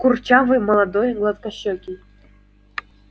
курчавый молодой гладкощекий